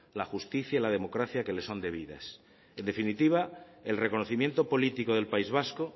la justicia y la democracia que le son debidas en definitiva el reconocimiento político del país vasco